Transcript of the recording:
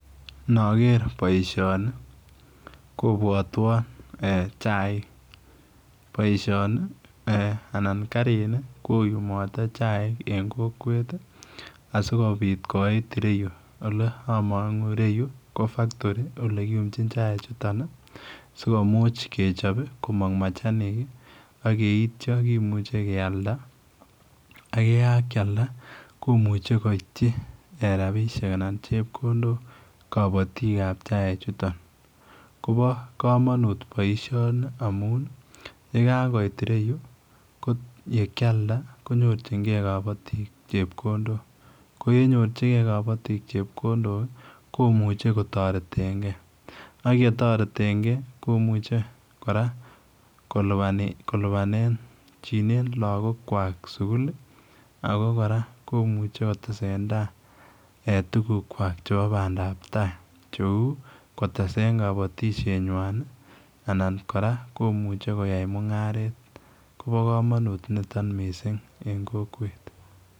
Nager boisioni kobwatwaan chaik , boisioni anan kariit ni koyumate chaik en kokwet ii asikobiit koit ireyuu ole amangu ireyuu ko factory ole kiyumjiin chaik chutoon ii sikomuuch kechaap komaang machanik ii ak yeityaa kimuchei keyaldaa ak ye kakiyalda komuchei koityi eeh rapisheek anan chepkondook kabatiik ab chaik chutoon, kobaa kamanuut boisioni amuun ye kakooit ireyuu ko ye kialdaa konyoor jigei kabatiik chepkondook ko ye nyorjigei kabatiik chepkondook ii komuchii kotaretengei ye taretengei komuchei kora kolupaanjinen lagook kwaak sugul ii ako kora komuchei kotesetatai eh tuguuk kwak chebo bandap che uu koteseen kabatisyeet nywaany ii anan kora komuchei koyaen mungaret kobaa kamanuut nitoon missing eng kokwet.